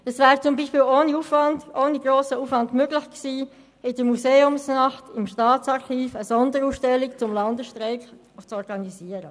Es wäre zum Beispiel ohne grossen Aufwand möglich gewesen, im Rahmen der Museumsnacht im Staatsarchiv eine Sonderausstellung zum Landesstreik zu organisieren.